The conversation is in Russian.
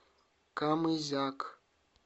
камызяк